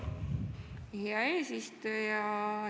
Hea eesistuja!